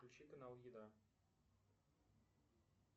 включи канал еда